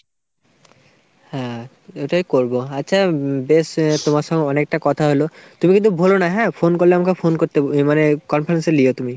হ্যাঁ ওটাই করবো। আচ্ছা বেশ তোমার সঙ্গে অনেকটা কথা হলো। তুমি কিন্তু ভুলোনা হ্যাঁ phone করলে আমাকে phone করতে ইয়ে মানে conference এ লিও তুমি।